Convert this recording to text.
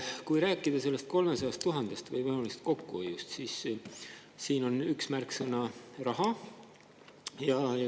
Kui rääkida sellest 300 000 eurost tõenäolisest kokkuhoiust, siis siin on üks märksõna raha.